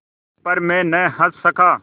पर मैं न हँस सका